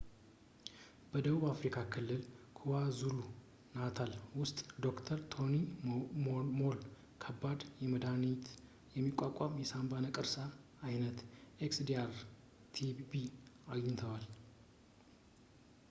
በደቡብ አፍሪካ ክልል kwazulu-natal ውስጥ ዶ/ር ቶኒ ሞል ከባድ፣ መድሃኒትን የሚቋቋም የሳንባ ነቀርሳ ዓይነት xdr-tb አግኝተዋል